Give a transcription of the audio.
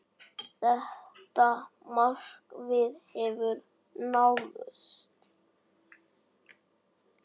Þetta markmið hefur náðst.